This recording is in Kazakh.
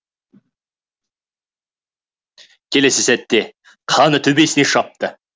келесі сәтте қаны төбесіне шапты